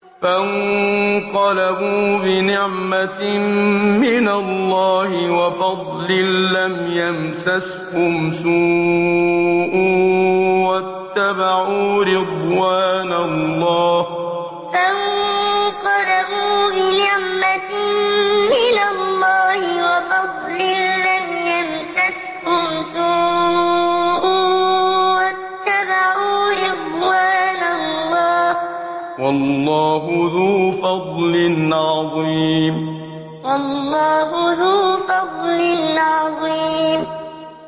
فَانقَلَبُوا بِنِعْمَةٍ مِّنَ اللَّهِ وَفَضْلٍ لَّمْ يَمْسَسْهُمْ سُوءٌ وَاتَّبَعُوا رِضْوَانَ اللَّهِ ۗ وَاللَّهُ ذُو فَضْلٍ عَظِيمٍ فَانقَلَبُوا بِنِعْمَةٍ مِّنَ اللَّهِ وَفَضْلٍ لَّمْ يَمْسَسْهُمْ سُوءٌ وَاتَّبَعُوا رِضْوَانَ اللَّهِ ۗ وَاللَّهُ ذُو فَضْلٍ عَظِيمٍ